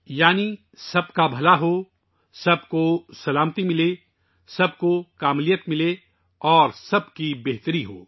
یعنی سب کی بھلائی ہو، سب کے لئے امن ہو، سب کی تکمیل ہو اور سب کی بھلائی ہو